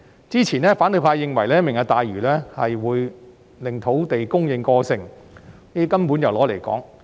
之前，反對派認為"明日大嶼"會令土地供應過剩，這根本是"攞嚟講"。